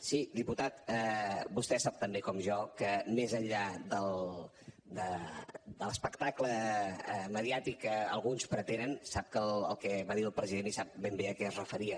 sí diputat vostè sap tan bé com jo que més enllà de l’espectacle mediàtic que alguns pretenen sap el que va dir el president i sap ben bé a què es referia